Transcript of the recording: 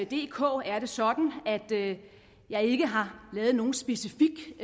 dk er det sådan at jeg ikke har lavet nogen specifik